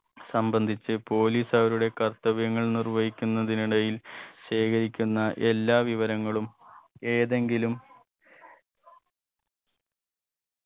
സംബന്ധിച്ച് police അവരുടെ കർത്തവ്യങ്ങൾ നിര്വഹിയ്ക്കുന്നതിനിടയിൽ ശേഖരിക്കുന്ന എല്ലാ വിവരങ്ങളും ഏതെങ്കിലും